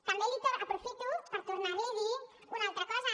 també aprofito per tornar li a dir una altra cosa